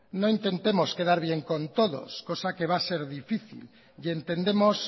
no intentemos quedar bien con todos cosa que va a ser difícil e intentemos